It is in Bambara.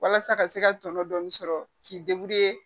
Walasa ka se ka tɔnɔ dɔɔni sɔrɔ k'i